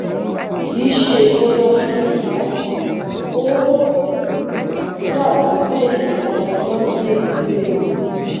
ki se irora sugbon o dabi pe nkan ina die gbe mi